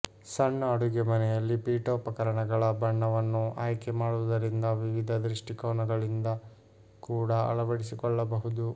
ಸಣ್ಣ ಅಡುಗೆಮನೆಯಲ್ಲಿ ಪೀಠೋಪಕರಣಗಳ ಬಣ್ಣವನ್ನು ಆಯ್ಕೆ ಮಾಡುವುದರಿಂದ ವಿವಿಧ ದೃಷ್ಟಿಕೋನಗಳಿಂದ ಕೂಡ ಅಳವಡಿಸಿಕೊಳ್ಳಬಹುದು